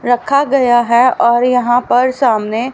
रखा गया है और यहां पर सामने--